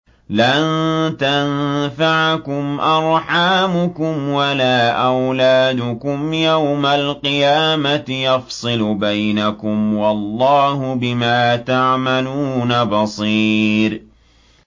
لَن تَنفَعَكُمْ أَرْحَامُكُمْ وَلَا أَوْلَادُكُمْ ۚ يَوْمَ الْقِيَامَةِ يَفْصِلُ بَيْنَكُمْ ۚ وَاللَّهُ بِمَا تَعْمَلُونَ بَصِيرٌ